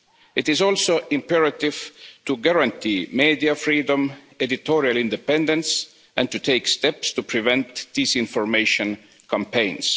It is also imperative to guarantee media freedom, editorial independence and to take steps to prevent disinformation campaigns.